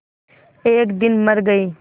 एक दिन मर गई